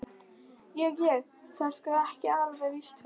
Ég. ég. það er sko. ekki alveg víst hvenær.